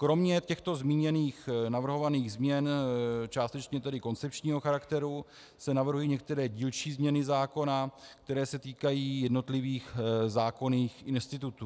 Kromě těchto zmíněných navrhovaných změn, částečně tedy koncepčního charakteru, se navrhují některé dílčí změny zákona, které se týkají jednotlivých zákonných institutů.